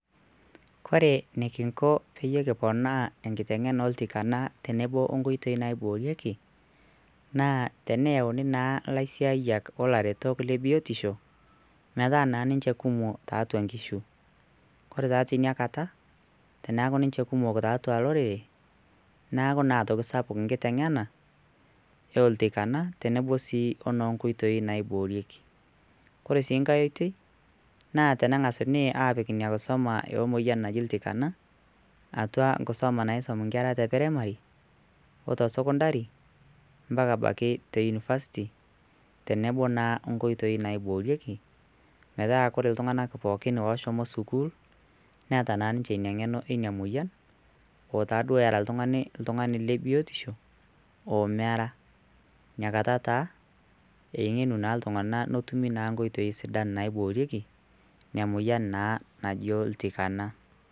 ore enikinko pekiponaa enkiteng'ena oltikana tenebo onkoitoi naiborieki naa eneyauni naa laisiayiak olaretok le biotisho metaa nan ninje kumok tiatua nkishu ore taa tiniakata teneku ninje kumok tiatua lorere neeku naa aitoki sapuk nkiteng'ena oltikana tenebo sii ono nkoitoi naiborieki ore sii ngae oitoi naa tenengásuni apiik inakisuma ina moyian naji iltikana atua enkisuma naisum nkera te primary ote secondary mpaka abaiki te university tenebo naa nkoitoi naiborieki metaa koree iltung'anak pokin oshomo sukul neeta naa ninje eng'eno ina moyian otaduoo etaa oltungani otungani le biotisho omera nakata taa eng'enu taa iltung'anak nitum naa nkoitoi sidan naiborieki oltikana